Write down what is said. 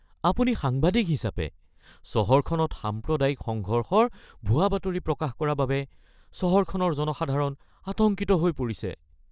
আপুনি সাংবাদিক হিচাপে চহৰখনত সাম্প্ৰদায়িক সংঘৰ্ষৰ ভুৱা বাতৰি প্ৰকাশ কৰা বাবে চহৰখনৰ জনসাধাৰণ আতংকিত হৈ পৰিছে।